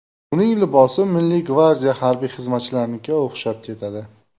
Uning libosi Milliy gvardiya harbiy xizmatchilarnikiga o‘xshab ketadi.